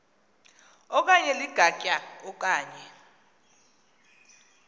okanye ligatya okanye